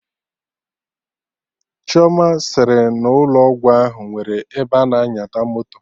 Chioma sịrị n'ụlọ ọgwụ ahụ nwere ebe ana nyata moto